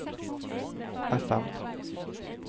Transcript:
FM